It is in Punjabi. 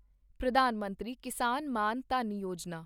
ਪ੍ਰਧਾਨ ਮੰਤਰੀ ਕਿਸਾਨ ਮਾਨ ਧਨ ਯੋਜਨਾ